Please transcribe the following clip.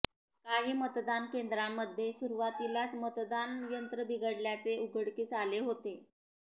काही मतदान केंद्रांमध्ये सुरुवातीलाच मतदान यंत्रे बिघडल्याचे उघडकीस आले होते